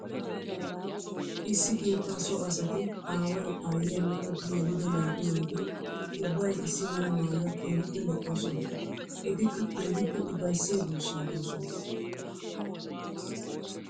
Issi keetta so asatti aaway aayiyanne etti yeliddo naa'u naati ubbay issi mala maayuwa keehippe lo'osonna. Ettikka keehippe ufayssiya duusa doosonna.